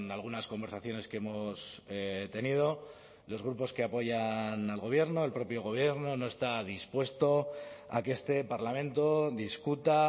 algunas conversaciones que hemos tenido los grupos que apoyan al gobierno el propio gobierno no está dispuesto a que este parlamento discuta